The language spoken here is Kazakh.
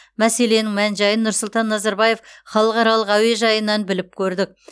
мәселенің мән жайын нұрсұлтан назарбаев халықаралық әуежайынан біліп көрдік